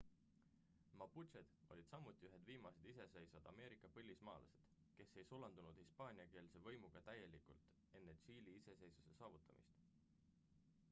maputšed olid samuti ühed viimased iseseisvad ameerika põlismaalased kes ei sulandunud hispaaniakeelse võimuga täielikult enne tšiili iseseisvuse saavutamist